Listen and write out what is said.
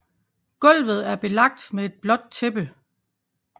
Gulvet er belagt med et blåt tæppe